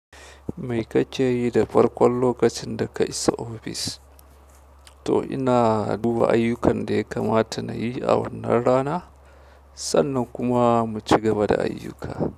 Me kake yi da farkon lokacin da ka isa ofis? To ina duba ayyukan da ya kamata na yi a wannan rana sannan kuma mu ci gaba da ayyuka.